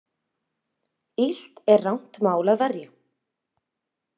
Illt er rangt mál að verja.